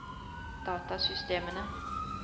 datasystemene